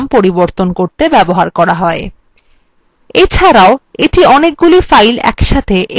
এছাড়াও এটি অনেকগুলি files একসাথে একটি ভিন্ন ডিরেক্টরিতে সরিয়ে নিয়ে যায়